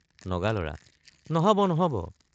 নগালৰা—নহব নহব!